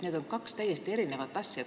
Need on kaks täiesti erinevat asja.